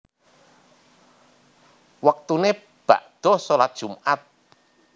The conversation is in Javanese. Wektune bakda shalat Jumat